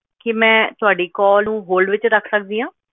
ਕੀ ਮੈਂ ਤੁਹਾਡੀ call ਨੂੰ hold ਵਿੱਚ ਰੱਖ ਸਕਦੀ ਹਾਂ?